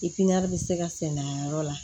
bɛ se ka sɛnɛ a yɔrɔ la